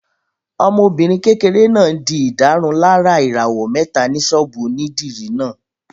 Ọmọbìnrin kékeré náà n di ìdárunlárà ìràwọ̀ mẹ́ta ní sọ́ọ̀bù onídìrí náà